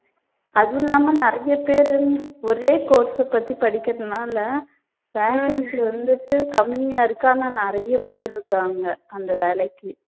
அதுவும் இல்லாம நிறைய பேரு வந்து ஒரே course அ பத்தி படிக்கிறதுனால vacancy வந்துட்டு கம்மியா இருக்கு ஆனா நிறைய பேரு இருக்காங்க அந்த வேலைக்கு.